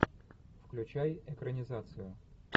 включай экранизацию